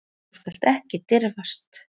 Þú skalt ekki dirfast.